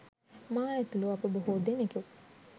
මා ඇතුළු අප බොහෝ දෙනකු